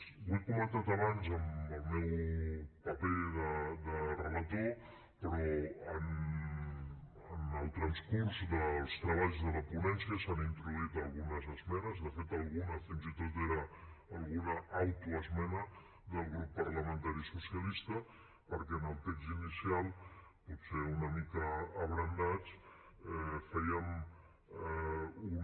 ho he comentat abans en el meu paper de relator però en el transcurs dels treballs de la ponència s’han introduït algunes esmenes de fet alguna fins i tot era alguna autoesmena del grup parlamentari socialista perquè en el text inicial potser una mica abrandats fèiem un